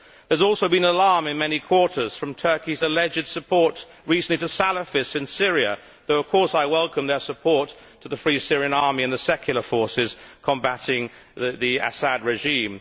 There has also been alarm in many quarters at Turkey's alleged support recently for Salafists in Syria, though of course I welcome its support for the Free Syrian Army and the secular forces combating the Assad regime.